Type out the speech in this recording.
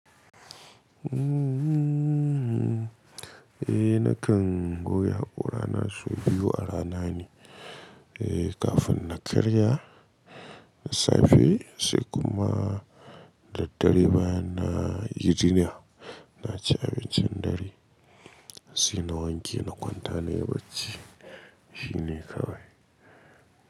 Eh nakan goge hakorana sau biyu a rana ne, eh kafin na karya, na safe sai kuma daddare bayan na yi jinya na ci abincin dare sai na wanke na kwanta na yi bacci. Shi ne kawai.